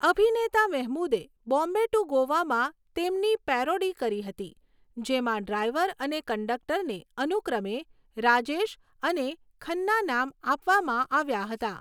અભિનેતા મેહમૂદે 'બોમ્બે ટુ ગોવા'માં તેમની પેરોડી કરી હતી જેમાં ડ્રાઈવર અને કંડક્ટરને અનુક્રમે 'રાજેશ' અને 'ખન્ના' નામ આપવામાં આવ્યા હતાં.